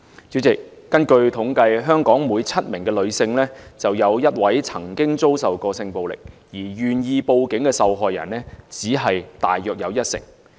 主席，根據統計，香港每7名女性便有1位曾經遭受性暴力，而願意報警的受害人大約只有一成。